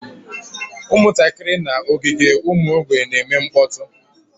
Ụmụntakịrị nọ n'ogige ụmụ mgbei na-eme mkpọtụ